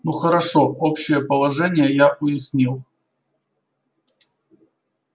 ну хорошо общее положение я уяснил